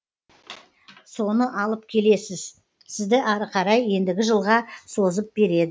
соны алып келесіз сізді ары қарай ендігі жылға созып береді